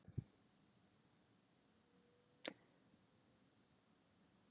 Við ákváðum að prófa að koma til Íslands og það gekk vel.